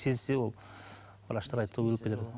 сезсе ол врачтар айтты ғой өліп кетеді